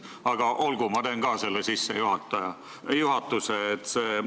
Aga olgu, ma teen ka selle sissejuhatuse.